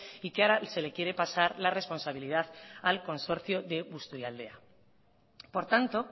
y que ahora se le quiere pasar la responsabilidad al consorcio de busturialdea por tanto